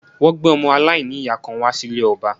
Wọ́n gbé ọmọ aláìníyàá kan wá sí ilé ọba